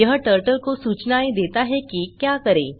यह टर्टल को सूचनाएँ देता है कि क्या करें